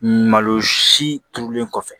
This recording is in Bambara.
Malo si turulen kɔfɛ